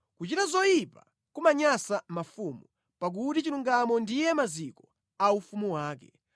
Kuchita zoyipa kumanyansa mafumu, pakuti chilungamo ndiye maziko a ufumu wake.